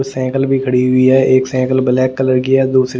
cycle भी खड़ी हुई है एक साईकल ब्लैक कलर की है दूसरी--